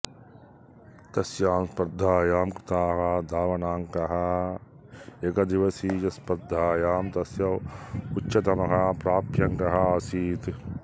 तस्यां स्पर्धायां कृताः धावनाङ्काः एकदिवसीयस्पर्धायां तस्य उच्चतमः प्राप्ताङ्कः आसीत्